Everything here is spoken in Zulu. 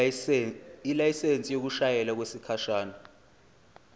ilayisensi yokushayela okwesikhashana